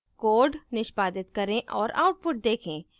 code निष्पादित करें और output देखें